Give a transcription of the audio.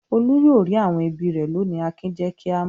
"Olú yóò rí àwọn ẹbí rẹ̀ lónìí!" Akin jẹ́ kí a mọ̀.